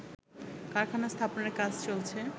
কারখানা স্থাপনের কাজ চলছে